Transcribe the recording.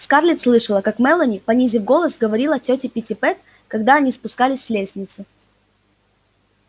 скарлетт слышала как мелани понизив голос говорила тёте питтипэт когда они спускались с лестницы